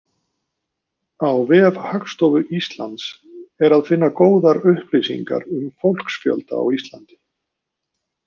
Á vef Hagstofu Íslands er að finna góðar upplýsingar um fólksfjölda á Íslandi.